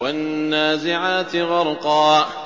وَالنَّازِعَاتِ غَرْقًا